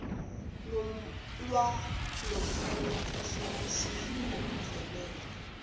lwalomfanekiso wosizo oluvelele